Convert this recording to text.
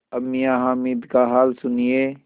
अब मियाँ हामिद का हाल सुनिए